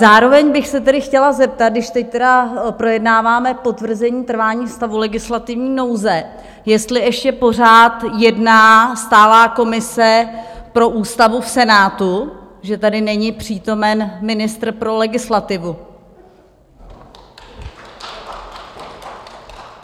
Zároveň bych se tedy chtěla zeptat, když teď tedy projednáváme potvrzení trvání stavu legislativní nouze, jestli ještě pořád jedná stálá komise pro ústavu v Senátu, že tady není přítomen ministr pro legislativu?